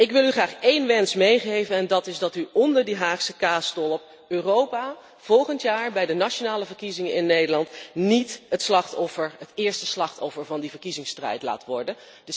Ik wil u graag één wens meegeven en dat is dat u onder die Haagse kaasstolp Europa volgend jaar bij de nationale verkiezingen in Nederland niet het eerste slachtoffer van de verkiezingsstrijd laat worden.